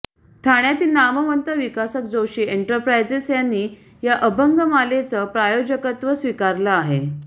ठाण्यातील नामवंत विकासक जोशी एंटरप्रायजेस यांनी या अभंगमालेचं प्रायोजकत्व स्वीकारलं आहे